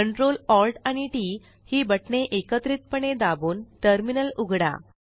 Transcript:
Ctrl Alt आणि TT ही बटणे एकत्रितपणे दाबून टर्मिनल उघडा